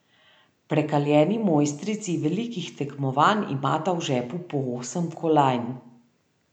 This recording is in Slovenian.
Prekaljeni mojstrici velikih tekmovanj imata v žepu po osem kolajn.